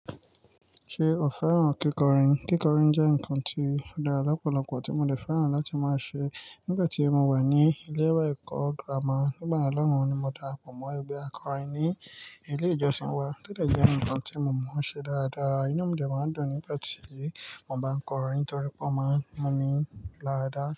Ṣé o fẹ́ràn kíkọrin? Kíkọrin jẹ́ nǹkan tí ó dára lọ́pọ̀lọpọ̀ tí mo ní fẹ́ràn láti máa ṣe nígbà tí mo wà ní ilé ẹ̀kọ́ gírámà. Nígbà náà lóhùn ni mo dàràpọ̀ mọ́ ẹgbẹ́ akọrin ní ilé ìjọsìn wa, to de jẹ́ nǹkan tí mo máa ń ṣe dáradára. Inú mi de máa ń dùn nígbà tí mo bá ń kọrin nítorí pé ó máa ń mú mi lára dá.